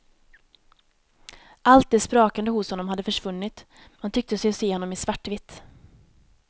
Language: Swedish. Allt det sprakande hos honom hade försvunnit, man tyckte sig se honom i svartvitt.